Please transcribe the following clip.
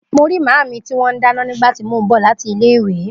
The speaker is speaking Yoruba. Mo ri maami ti wọn dáná nígbà tí mo bọ lati ilé ìwé